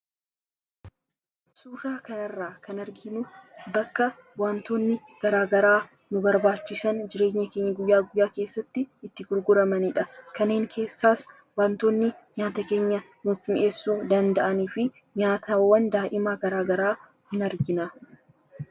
suuraa kan irraa kan arginuu bakka wantoonni garaagaraa nu barbaachisan jireenya keenya guyyaa guyaa keessatti itti gurguramaniidha kaneen keessaas wantoonni nyaata keenya hunfmi'eessuu danda'anii fi nyaataawwan daa'imaa garaagaraa hin argina